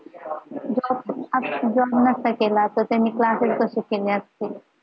नसता केला त्यांनी classes कसे केले असतील